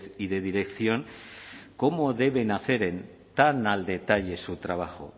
y de dirección cómo deben hacer tan al detalle su trabajo